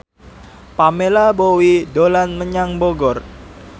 Pamela Bowie dolan menyang Bogor